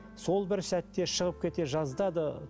сол бір сәтте шығып кете жаздады